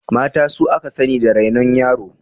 Mata su aka sani da rainon yara.